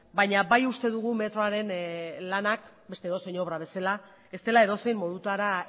baina bai uste dugu metroaren lanak beste edozein obra bezala ez dela edozein modutara